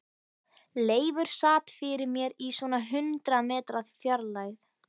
Leifur sat fyrir mér í svona hundrað metra fjarlægð.